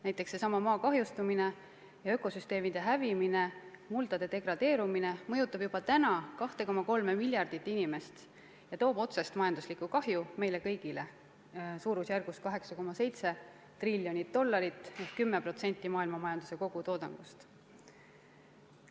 Näiteks seesama maa kahjustumine ja ökosüsteemide hävimine, muldade degradeerumine mõjutab juba praegu 2,3 miljardit inimest ja toob otsest majanduslikku kahju meile kõigile suurusjärgus 8,7 triljonit dollarit ehk 10% maailmamajanduse kogutoodangust.